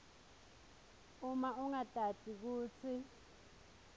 uma ungatati kutsi